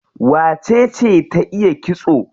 Wacece ta iya kitso?